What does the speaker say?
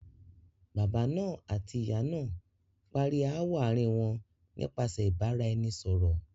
Baba náà àti ìyá náà parí ááwọ̀ àárín wọn nípasẹ̀ ìbára- ẹni- sọ̀rọ̀.